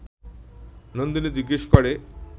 নন্দিনী জিজ্ঞেস করে